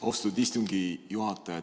Austatud istungi juhataja!